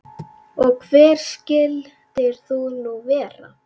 Og hver skyldir þú nú vera?